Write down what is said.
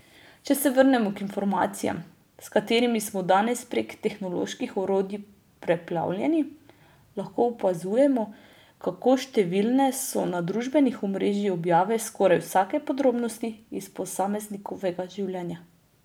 Če se vrnemo k informacijam, s katerimi smo danes prek tehnoloških orodij preplavljeni, lahko opazujemo, kako številne so na družbenih omrežjih objave skoraj vsake podrobnosti iz posameznikovega življenja.